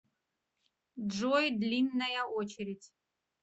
джой длинная очередь